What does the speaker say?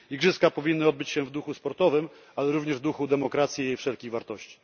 Igrzyska powinny odbyć się w duchu sportowym, ale również w duchu demokracji i wszelkich wartości.